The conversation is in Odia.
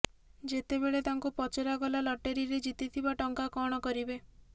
ଯେତେବେଳେ ତାଙ୍କୁ ପଚରାଗଲା ଲଟେରୀରେ ଜିତିଥିବା ଟଙ୍କା କଣ କରିବେ